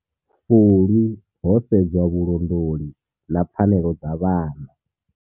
Fulwi ho sedzwa vhulondoli na pfanelo dza vhana.